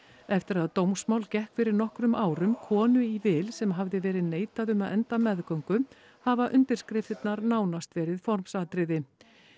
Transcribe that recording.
eftir að dómsmál gekk fyrir nokkrum árum konu í vil sem hafði verið neitað um að enda meðgöngu hafa undirskriftirnar nánast verið formsatriði